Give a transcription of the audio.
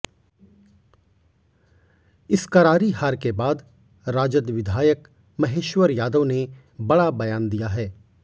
इस करारी हार के बाद राजद विधायक महेश्वर यादव ने बड़ा बयान दिया है